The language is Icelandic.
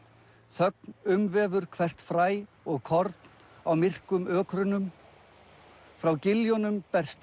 þögn umvefur hvert fræ og korn á myrkrum ökrunum frá giljunum berst